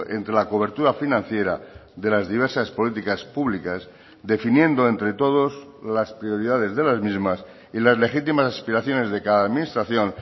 entre la cobertura financiera de las diversas políticas públicas definiendo entre todos las prioridades de las mismas y las legítimas aspiraciones de cada administración